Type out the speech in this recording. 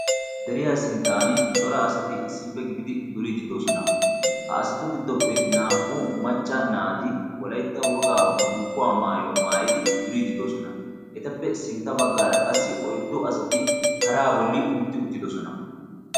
Deriyaa sinttan cora asati issippe gididi duriididoosona ha asatu giddoppe naa"u macca naati wolaitta wogaa bulkkuwaa maayuwaa maayidi duriididoosona etappe sintta baggaara qassi oiddo asati paraa bolli utti uttidosona.